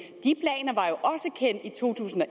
to tusind og